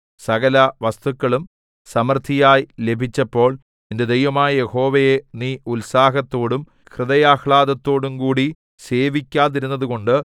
സകലവസ്തുക്കളും സമൃദ്ധിയായി ലഭിച്ചപ്പോൾ നിന്റെ ദൈവമായ യഹോവയെ നീ ഉത്സാഹത്തോടും ഹൃദയാഹ്ലാദത്തോടുംകൂടി സേവിക്കാതിരുന്നതുകൊണ്ട്